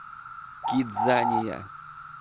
кидзания